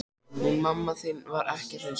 Hún mamma þín var ekki hraust.